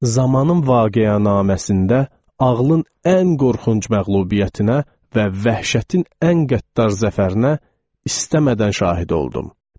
Zamanın vaqiənaməsində ağlın ən qorxunc məğlubiyyətinə və vəhşətin ən qəddar zəfərinə istəmədən şahid oldum.